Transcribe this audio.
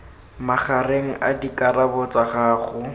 magareng a dikarabo tsa gago